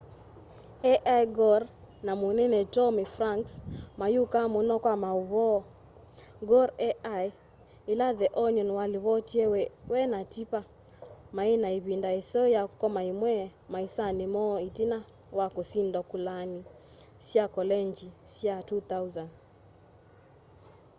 al gore na munene tommy franks mayukaa muno kwa mauvoo gore ai ila the onion walivotie we na tipper mai na ivind aiseo ya ukoma imwe maisani moo itina wa kusindwa kulani sya kolengyi sya 2000